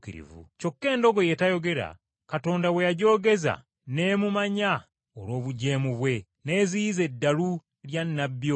Kyokka endogoyi etayogera, Katonda bwe yagyogeza n’emumanya olw’obujeemu bwe n’eziyiza eddalu lya nnabbi oyo.